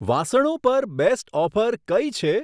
વાસણો પર best offer કઈ છે?